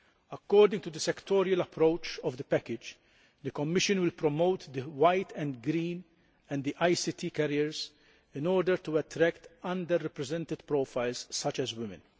According to the sectoral approach of the package, the Commission will promote white collar, green and ICT careers in order to attract under represented profiles such as women.